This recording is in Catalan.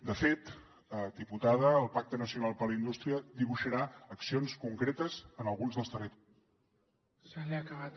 de fet diputada el pacte nacional per la indústria dibuixarà accions concretes en alguns dels territ